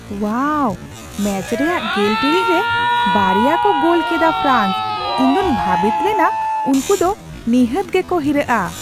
ᱳᱣᱟᱣ! Match ᱨᱮᱭᱟᱜ ᱜᱮᱞ ᱴᱤᱲᱤᱡ ᱨᱮ ᱵᱟᱨᱮᱭᱟ ᱠᱚ ᱜᱳᱞ ᱠᱮᱫᱟ ᱯᱷᱨᱟᱱᱥ ! ᱤᱧ ᱫᱚᱧ ᱵᱷᱟᱵᱤᱛ ᱞᱮᱱᱟ ᱩᱝᱠᱩ ᱫᱚ ᱱᱤᱦᱟᱹᱛ ᱜᱮ ᱠᱚ ᱦᱤᱨᱟᱹᱜᱼᱟ ᱾